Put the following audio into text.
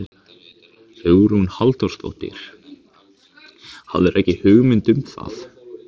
Hugrún Halldórsdóttir: Hafðirðu ekki hugmynd um það?